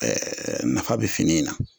nafa bɛ fini in na.